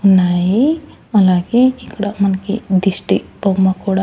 ఉన్నాయి అలాగే ఇక్కడ మనకి దిష్టి బొమ్మ కూడా--